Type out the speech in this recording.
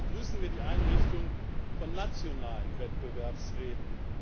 Daher begrüßen wir die Einrichtung von nationalen Wettbewerbsräten.